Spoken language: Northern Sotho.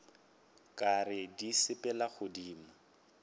ka re di sepela godimo